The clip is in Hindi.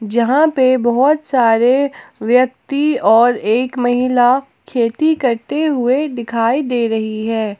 जहां पे बहोत सारे व्यक्ति और एक महिला खेती करते हुए दिखाई दे रही हैं।